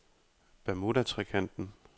Bermudatrekanten